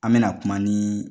An bɛna kuma ni